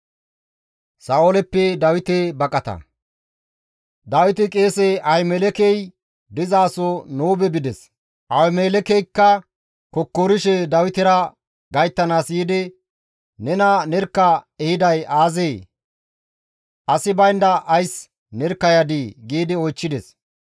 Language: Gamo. Dawiti qeese Ahimelekey dizaso Noobe bides; Ahimelekeykka kokkorishe Dawitera gayttanaas yiidi, «Nena nerkka ehiday aazee? Asi baynda ays nerkka yadii?» giidi oychchides.